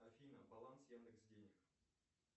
афина баланс яндекс денег